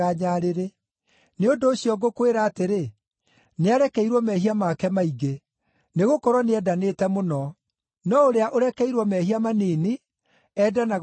Nĩ ũndũ ũcio ngũkwĩra atĩrĩ, nĩarekeirwo mehia make maingĩ. Nĩgũkorwo nĩendanĩte mũno. No ũrĩa ũrekeirwo mehia manini, endanaga o hanini.”